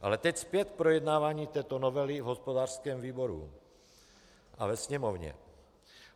Ale teď zpět k projednávání této novely v hospodářském výboru a ve Sněmovně.